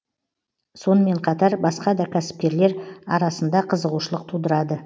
сонымен қатар басқа да кәсіпкерлер арасында қызығушылық тудырады